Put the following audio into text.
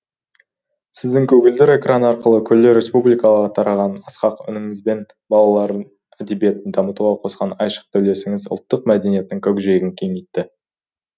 сіздің көгілдір экран арқылы күллі республикаға тараған асқақ үніңіз бен балалар әдебиетін дамытуға қосқан айшықты үлесіңіз ұлттық мәдениеттің көкжиегін кеңейтті